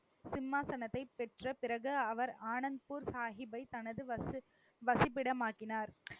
சிம்மாசனத்தை பெற்ற பிறகு, அவர் ஆனந்த்பூர் சாகிப்பை தனது வசிப்~ வசிப்பிடம் ஆக்கினார்.